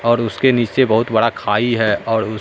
और उसके नीचे बहुत बड़ा खाई है और उस--